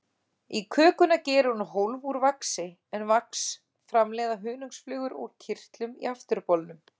Í kökuna gerir hún hólf úr vaxi, en vax framleiða hunangsflugur úr kirtlum í afturbolnum.